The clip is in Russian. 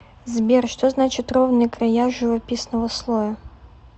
сбер что значит ровные края живописного слоя